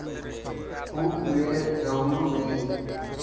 खूप वेळ ढवळू नये.